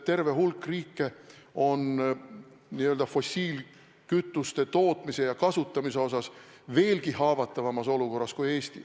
Terve hulk riike on fossiilkütuste tootmise ja kasutamise osas veelgi haavatavamas olukorras kui Eesti.